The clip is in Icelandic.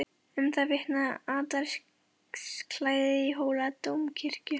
Um það vitnaði altarisklæðið í Hóladómkirkju.